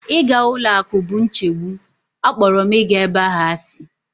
Ịga ụlọ akụ bụ nchegbu, akpọrọ m ịga ebe ahụ asị.